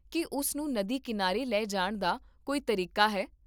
ਕੀ ਉਸ ਨੂੰ ਨਦੀ ਕੀਨਾਰੇ ਲੈ ਜਾਣ ਦਾ ਕੋਈ ਤਰੀਕਾ ਹੈ?